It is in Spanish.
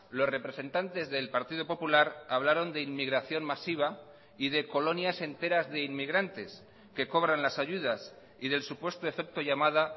los representantes del partido popular hablaron de inmigración masiva y de colonias enteras de inmigrantes que cobran las ayudas y del supuesto efecto llamada